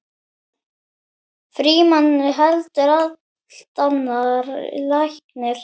Frímann heldur allt annar læknir.